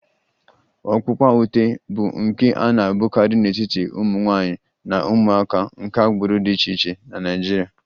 Ọkpụkpa ute bụ nka a na-ahụkarị n'etiti ụmụ nwanyị na ụmụaka nke agbụrụ dị iche iche na Nigeria